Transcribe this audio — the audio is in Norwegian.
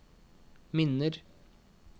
minner